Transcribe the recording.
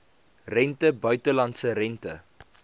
rente buitelandse rente